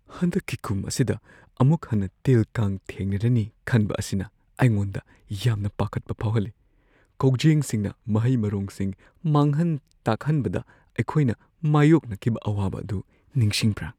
ꯍꯟꯗꯛꯀꯤ ꯀꯨꯝ ꯑꯁꯤꯗ ꯑꯃꯨꯛ ꯍꯟꯅ ꯇꯤꯜ-ꯀꯥꯡ ꯊꯦꯡꯅꯔꯅꯤ ꯈꯟꯕ ꯑꯁꯤꯅ ꯑꯩꯉꯣꯟꯗ ꯌꯥꯝꯅ ꯄꯥꯈꯠꯄ ꯐꯥꯎꯍꯜꯂꯤ ꯫ ꯀꯧꯖꯦꯡꯁꯤꯡꯅ ꯃꯍꯩ-ꯃꯔꯣꯡꯁꯤꯡ ꯃꯥꯡꯍꯟ-ꯇꯥꯛꯍꯟꯕꯗ ꯑꯩꯈꯣꯏꯅ ꯃꯥꯌꯣꯛꯅꯈꯤꯕ ꯑꯋꯥꯕ ꯑꯗꯨ ꯅꯤꯁꯤꯡꯕ꯭ꯔꯥ ?